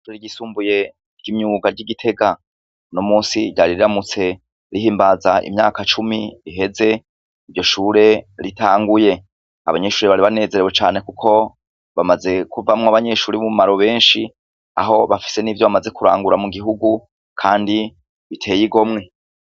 Ishure ryisumbuye ry’imyuga ry’igitega nomusi ryari riramutse rigimbaza imyaka cumi riheze iryo shure ritanguye, abanyeshure bari banezerewe cane kuko bamaze kuvamwo abanyeshure b’ubumaro benshi kuko bafise n’ivyo bamaze kurangura mu gihugu kandi biteye igomwe.